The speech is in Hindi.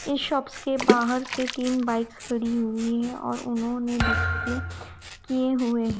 इस शॉप्स के बाहर से तीन बाइक्स खड़ी हुई और उन्होंने डिस्प्ले किए हुए--